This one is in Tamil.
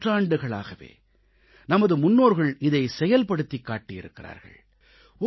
பல நூற்றாண்டுகளாகவே நமது முன்னோர்கள் இதைச் செயல்படுத்திக் காட்டியிருக்கிறார்கள்